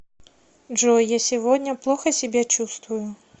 джой я сегодня плохо себя чувствую